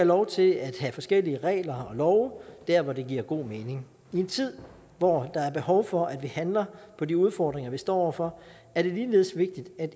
lov til at have forskellige regler og love der hvor det giver god mening i en tid hvor der er behov for at vi handler på de udfordringer vi står over for er det ligeledes vigtigt at